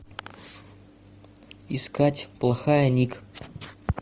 искать плохая ник